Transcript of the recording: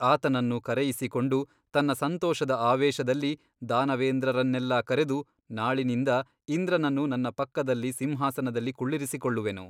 ಆತನನ್ನು ಕರೆಯಿಸಿಕೊಂಡು ತನ್ನ ಸಂತೋಷದ ಆವೇಶದಲ್ಲಿ ದಾನವೇಂದ್ರರನ್ನೆಲ್ಲಾ ಕರೆದು ನಾಳಿನಿಂದ ಇಂದ್ರನನ್ನು ನನ್ನ ಪಕ್ಕದಲ್ಲಿ ಸಿಂಹಾಸನದಲ್ಲಿ ಕುಳ್ಳಿರಿಸಿಕೊಳ್ಳುವೆನು.